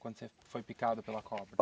Quando você foi picado pela cobra?